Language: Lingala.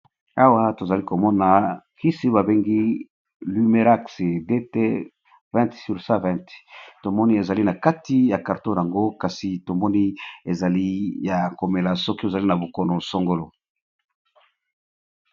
Awa tozali ko mona kisi ba bengi lumerax DT 20/120 . To moni ezali na kati ya carton yango kasi, to moni ezali ya ko mela soki ozali na bokono sangolo .